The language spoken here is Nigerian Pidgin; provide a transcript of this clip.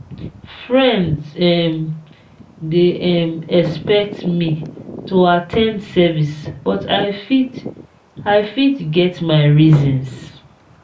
friends um dey um expect me to at ten d service but i fit i fit get my reasons.